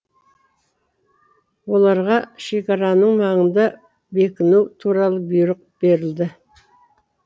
оларға шекараның маңында бекіну туралы бұйрық берілді